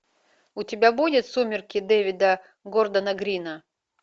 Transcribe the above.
у тебя будет сумерки дэвида гордона грина